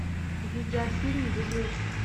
видеофильм везунчик